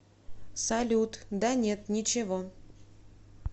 салют да нет ничего